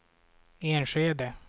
Enskede